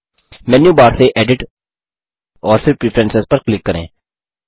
मेनू bar से edit और फिर प्रेफरेंस पर क्लिक करें